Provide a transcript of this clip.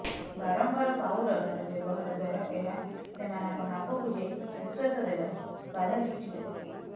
ବାରମ୍ବାର ପାଉଡ଼ରର ବ୍ୟବହାର ଦ୍ୱାରା ଏହା ସେମାନଙ୍କ ନାକକୁ ଯାଇ ନିଶ୍ୱାସ ଦେବାରେ ବାଧା ସୃଷ୍ଟି କରିଥାଏ